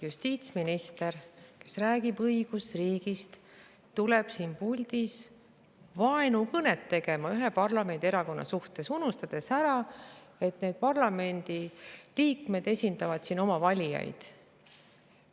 Justiitsminister, kes räägib õigusriigist, tuleb siin puldis vaenukõnet tegema ühe parlamendierakonna suhtes, unustades ära, et need parlamendi liikmed esindavad siin oma valijaid.